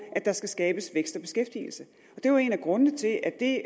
at der skal skabes vækst og beskæftigelse det er jo en af grundene til at det